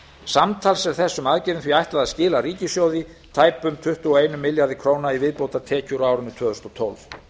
samtals er þessum aðgerðum því ætlað að skila ríkissjóði tæpum tuttugu og einum milljarði króna í viðbótartekjur á árinu tvö þúsund og tólf